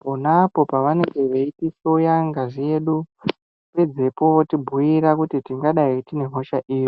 ponapo pavanenge vechitihloya ngazi yedu, pedzepo votibhuyira kuti tingadai tine hosha ipi.